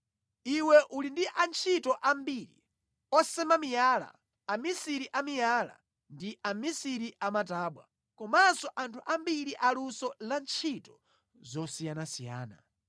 Iwe uli ndi antchito ambiri: osema miyala, amisiri a miyala, ndi amisiri a matabwa, komanso anthu ambiri aluso la ntchito zosiyanasiyana,